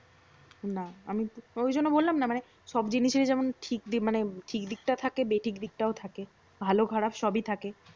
না আমি অইজন্য বললাম না মানে সব জিনিসের যেমন ঠিক দিক মানে ঠিক দিকটা থাকে বেঠিক দিকটাও থাকে। ভালো খারাপ সবই থাকে।